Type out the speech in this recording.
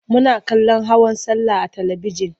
Muna kallon hawan sallah a talibijin.